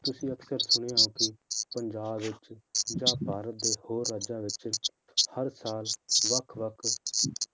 ਤੁਸੀਂ ਅਕਸਰ ਸੁਣਿਆ ਹੈ ਕਿ ਪੰਜਾਬ ਵਿੱਚ ਜਾਂ ਭਾਰਤ ਦੇ ਹੋਰ ਰਾਜਾਂ ਵਿੱਚ ਹਰ ਸਾਲ ਵੱਖ ਵੱਖ